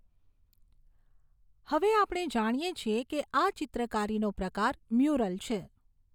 હવે આપણે જાણીએ છીએ કે આ ચિત્રકારીનો પ્રકાર મ્યુરલ છે.